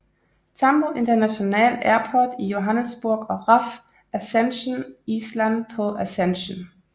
Tambo International Airport i Johannesburg og RAF Ascension Island på Ascension